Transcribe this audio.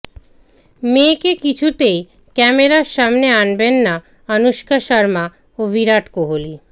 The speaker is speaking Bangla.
মেয়েকে কিছুতেই ক্যামেরার সামনে আনবেন না অনুষ্কা শর্মা ও বিরাট কোহলি